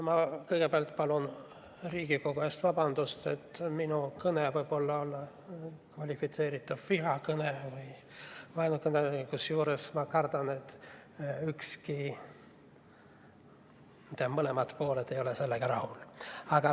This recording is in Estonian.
Ma kõigepealt palun Riigikogu ees vabandust, et minu kõne võib olla kvalifitseeritav vihakõne või vaenukõnena, kusjuures ma kardan, et kumbki pool ei ole sellega rahul.